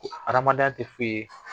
Adamadenya tɛ foyi ye